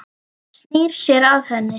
Hann snýr sér að henni.